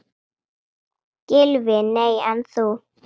Gylfi: Nei en þú?